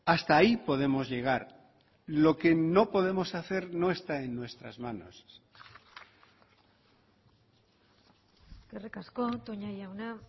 hasta ahí podemos llegar lo que no podemos hacer no está en nuestras manos eskerrik asko toña jauna